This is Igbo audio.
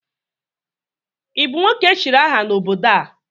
ị bụ nwoke echiri aha n'obodo a?